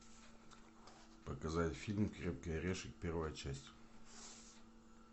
показать фильм крепкий орешек первая часть